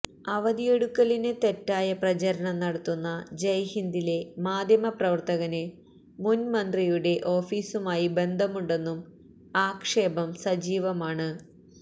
അവധിയെടുക്കലിന് തെറ്റായ പ്രചരണം നടത്തുന്ന ജയ്ഹിന്ദിലെ മാദ്ധ്യമ പ്രവർത്തകന് മുന്മന്ത്രിയുടെ ഓഫീസുമായി ബന്ധമുണ്ടെന്നും ആക്ഷേപം സജീവമാണ്